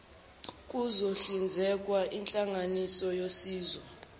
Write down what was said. kuzohlinzekwa inhlanganisela yosizo